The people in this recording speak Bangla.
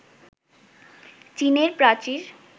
চীনের প্রাচীর